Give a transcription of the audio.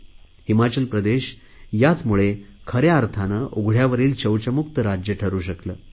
त्याचमुळे हिमाचल प्रदेश खऱ्या अर्थाने उघडयावरील शौचमुक्त राज्य ठरु शकले